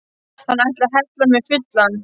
Hann ætlaði að hella mig fullan!